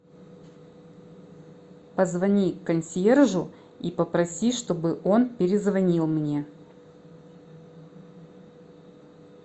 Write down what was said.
позвони консьержу и попроси чтобы он перезвонил мне